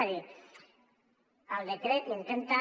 és a dir el decret intenta